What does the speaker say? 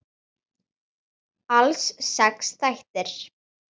Alls sex þættir.